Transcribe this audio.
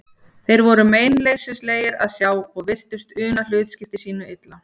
Þeir voru meinleysislegir að sjá og virtust una hlutskipti sínu illa.